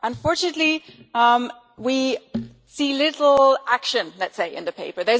Unfortunately, we see little action, let us say, in the paper.